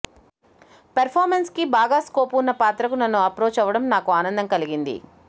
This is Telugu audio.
ఫెర్ఫార్మెన్స్ కి బాగా స్కోప్ వున్న పాత్ర కు నన్ను అప్రోచ్ అవ్వడం నాకు ఆనందం కలిగింది